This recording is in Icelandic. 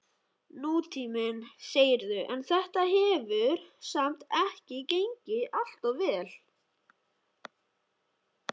Nútíminn, segirðu, en þetta hefur samt ekki gengið alltof vel?